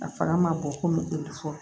A fanga ma bon ko mu fɔ